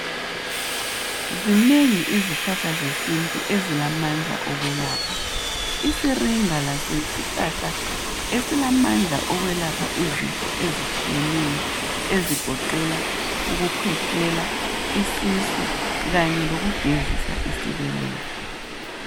Zinengi izihlahla zesintu ezilamandla okwelapha isiringa laso yisihlahla esilamandla okwelapha izifo ezitshiyeneyo ezigoqela ukukhwehlela, isisu kanye lokugezisa isibeletho.